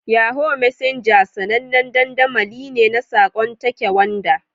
Yahoo Messenger sanannen dandamali ne na saƙon take wanda.